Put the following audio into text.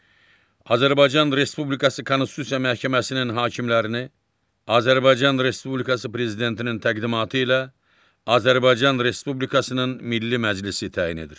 Azərbaycan Respublikası Konstitusiya Məhkəməsinin hakimlərini Azərbaycan Respublikası Prezidentinin təqdimatı ilə Azərbaycan Respublikasının Milli Məclisi təyin edir.